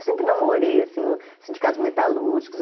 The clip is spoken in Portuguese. Eu sempre namorei, assim, os sindicatos metalúrgicos.